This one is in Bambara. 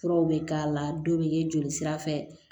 Furaw bɛ k'a la dɔw bɛ kɛ joli sira fɛ